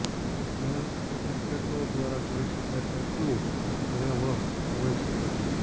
ડઝનેલ્સ ટેમ્પ્લેટો દ્વારા જોઈ શકાય તેટલું ભયાવહ હોઈ શકે છે